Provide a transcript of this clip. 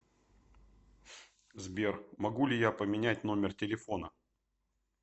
сбер могу ли я поменять номер телефона